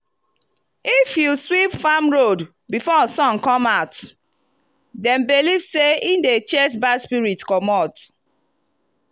if you sweep farm road before sun come out dem believe sey e dey chase bad spirit commot.